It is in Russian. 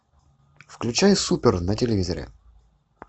включай супер на телевизоре